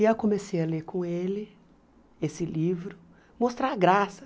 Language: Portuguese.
E eu comecei a ler com ele esse livro, mostrar a graça.